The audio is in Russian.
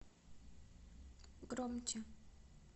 громче